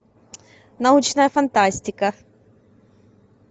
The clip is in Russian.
научная фантастика